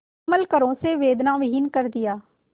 कोमल करों से वेदनाविहीन कर दिया